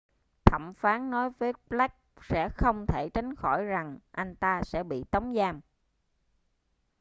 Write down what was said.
thẩm phán nói với blake sẽ không thể tránh khỏi rằng anh ta sẽ bị tống giam